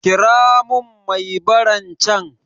Kira mun mai baran can